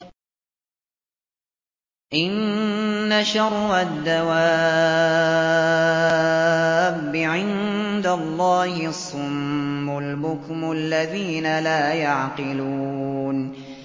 ۞ إِنَّ شَرَّ الدَّوَابِّ عِندَ اللَّهِ الصُّمُّ الْبُكْمُ الَّذِينَ لَا يَعْقِلُونَ